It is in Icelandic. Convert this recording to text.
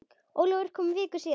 Ólafur kom viku síðar.